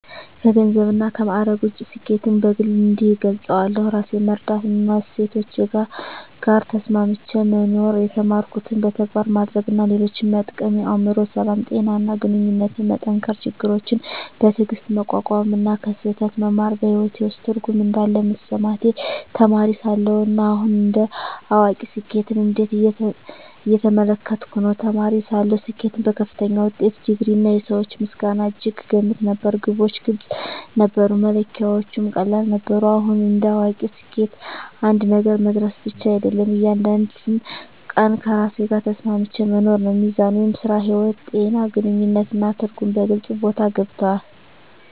ከገንዘብና ከማዕረግ ውጭ፣ ስኬትን በግል እንዲህ እገልጻለሁ፦ ራሴን መረዳትና ከእሴቶቼ ጋር ተስማምቼ መኖር የተማርኩትን በተግባር ማድረግ እና ሌሎችን መጠቀም የአእምሮ ሰላም፣ ጤና እና ግንኙነቶችን መጠንከር ችግሮችን በትዕግስት መቋቋም እና ከስህተት መማር በሕይወቴ ውስጥ ትርጉም እንዳለ መሰማቴ ተማሪ ሳለሁ እና አሁን እንደ አዋቂ ስኬትን እንዴት እየተመለከትኩ ነው? ተማሪ ሳለሁ ስኬትን በከፍተኛ ውጤት፣ ዲግሪ፣ እና የሰዎች ምስጋና እጅግ እገመት ነበር። ግቦች ግልጽ ነበሩ፣ መለኪያዎቹም ቀላል ነበሩ። አሁን እንደ አዋቂ ስኬት አንድ ነገር መድረስ ብቻ አይደለም፤ እያንዳንዱን ቀን ከራሴ ጋር ተስማምቼ መኖር ነው። ሚዛን (ሥራ–ሕይወት)፣ ጤና፣ ግንኙነት እና ትርጉም በግልጽ ቦታ ገብተዋል።